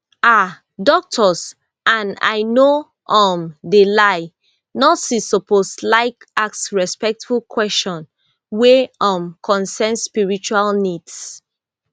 um doctors and i no um de lie nurses suppose laik ask respectful kweshion wey um concern spiritual needs